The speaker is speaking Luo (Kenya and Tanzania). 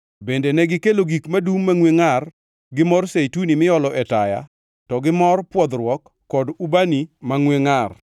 Bende negikelo gik madum mangʼwe ngʼar gi mor zeituni miolo e taya to gi mor pwodhruok kod ubani mangʼwe ngʼar.